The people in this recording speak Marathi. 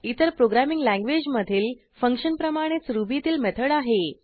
इतर प्रोग्रॅमिंग लँग्वेज मधील फंक्शनप्रमाणेच रुबीतील मेथड आहे